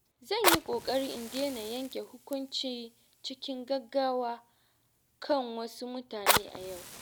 Zan yi ƙoƙari in daina yanke hukunci cikin gaggawa kan wasu mutane a yau.